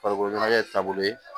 Farikolo ɲɛnajɛ taabolo ye